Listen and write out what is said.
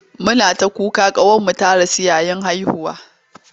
Muna ta kuka ƙawarmu ta rasu yayin haihuwa.